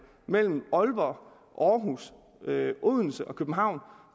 mellem aalborg aarhus odense og københavn